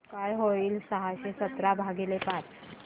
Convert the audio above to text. काय होईल सहाशे सतरा भागीले पाच